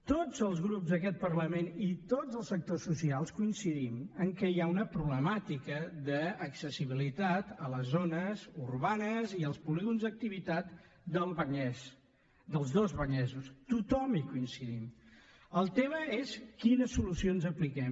tots els grups d’aquest parlament i tots els sectors socials coincidim que hi ha una problemàtica d’accessibilitat a les zones urbanes i als polígons d’activitat del vallès dels dos vallesos tothom hi coincidim el tema és quines solucions apliquem